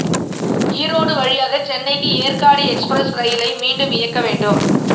ஈரோடு வழியாக சென்னைக்கு ஏற்காடு எக்ஸ்பிரஸ் ரயிலை மீண்டும் இயக்க வேண்டும்